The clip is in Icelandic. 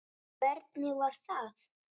Hvernig var það?